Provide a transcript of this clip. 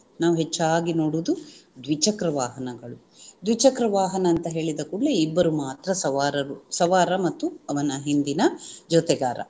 ನಾವು ಹೆಚ್ಚಾಗಿ ನೋಡುವುದು ದ್ವಿಚಕ್ರ ವಾಹನಗಳು ದ್ವಿಚಕ್ರ ವಾಹನ ಅಂತ ಹೇಳಿದ ಕೂಡಲೇ ಇಬ್ಬರು ಮಾತ್ರ ಸವಾರರು ಸವಾರ ಮತ್ತು ಅವನ ಹಿಂದಿನ ಜೊತೆಗಾರ